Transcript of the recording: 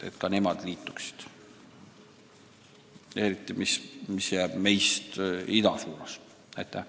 Pean eriti silmas riiki, mis jääb meist ida poole.